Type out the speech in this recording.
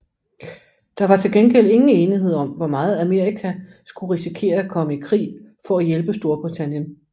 Der var til gengæld ingen enighed om hvor meget Amerika skulle risikere at komme i krig for at hjælpe Storbritannien